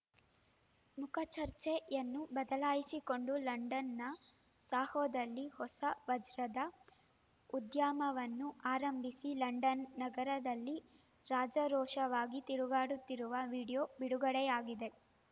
ಮುಖಚರ್ಯೆಯನ್ನು ಬದಲಾಯಿಸಿಕೊಂಡು ಲಂಡನ್‌ನ ಸೋಹೊದಲ್ಲಿ ಹೊಸ ವಜ್ರದ ಉದ್ಯಮವನ್ನು ಆರಂಭಿಸಿ ಲಂಡನ್‌ ನಗರದಲ್ಲಿ ರಾಜಾರೋಷವಾಗಿ ತಿರುಗಾಡುತ್ತಿರುವ ವೀಡಿಯೊ ಬಿಡುಗಡೆಯಾಗಿದೆ